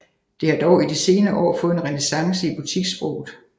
Det har dog i de senere år fået en renæssance i butikssproget